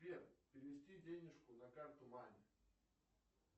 сбер перевести денежку на карту маме